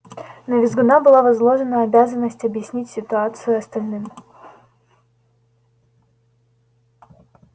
на визгуна была возложена обязанность объяснить ситуацию остальным